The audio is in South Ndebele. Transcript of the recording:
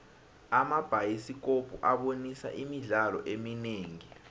amabhayisikopo abonisa imidlalo eminingi